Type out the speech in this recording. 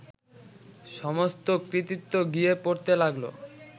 সমস্ত কৃতিত্ব গিয়ে পড়তে লাগলো